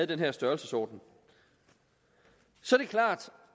den her størrelsesorden så